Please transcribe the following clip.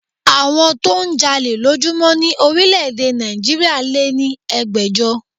Àwọn tó ń jalè lójúmọ́ ni orílẹ̀ èdè Nàìjíríà lé ní ẹgbẹ̀jọ